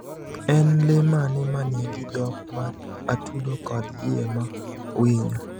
En le mane ma nigi dhok ma atudo kod yie ma winyo?